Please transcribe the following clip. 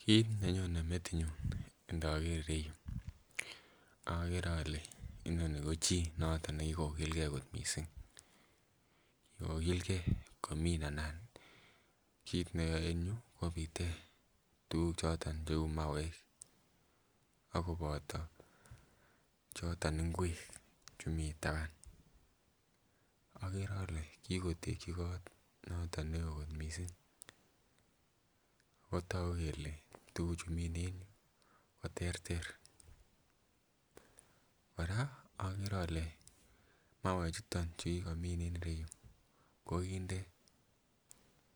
kit nenyone metinyun inoker ireyu okere ole inoni ko chii nekikokilgee kot missing kikokilgee komin anan kit neyoe en yuu kobite tuguk choton cheu mauek akoboto choton ngwek chemii taban. Okere ole kikotekyi kot noton neoo kot missing ako togu kele tuguk chu mine en yuu koterter. Kora okere ole mauek chuton chukikomin en ireyu kokinde